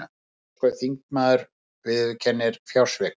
Breskur þingmaður viðurkennir fjársvik